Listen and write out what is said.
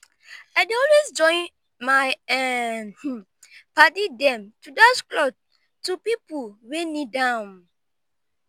i dey always join my um paddy dem to dash clot to pipu wey need am.